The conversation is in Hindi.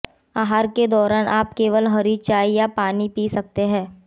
आहार के दौरान आप केवल हरी चाय या पानी पी सकते हैं